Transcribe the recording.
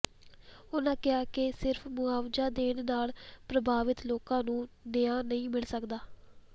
ਉਨ੍ਹਾਂ ਕਿਹਾ ਕਿ ਸਿਰਫ ਮੁਆਵਜਾ ਦੇਣ ਨਾਲ ਪ੍ਰਭਾਵਿਤ ਲੋਕਾਂ ਨੂੰ ਨਿਆ ਨਹੀਂ ਮਿਲ ਸਕਦਾ